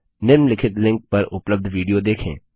निम्नलिखित लिंक पर उपलब्ध विडियो देखें